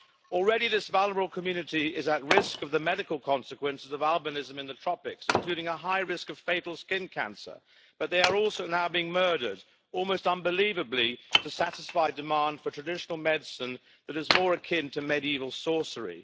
Already, this vulnerable community is at risk of the medical consequences of albinism in the tropics, including a high risk of fatal skin cancer, but they are also now being murdered almost unbelievably to satisfy demand for traditional medicine that is more akin to medieval sorcery.